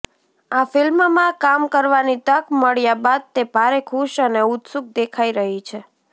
આ ફિલ્મમાં કામ કરવાની તક મળ્યા બાદ તે ભારે ખુશ અને ઉત્સુક દેખાઇ રહી છે